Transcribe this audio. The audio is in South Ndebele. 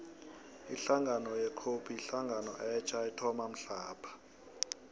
ihlangano ye cope yihlangano etja ethoma mhlapha